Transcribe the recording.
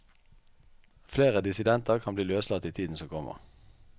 Flere dissidenter kan bli løslatt i tiden som kommer.